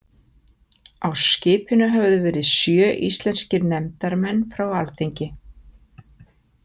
Á skipinu höfðu verið sjö íslenskir nefndarmenn frá alþingi.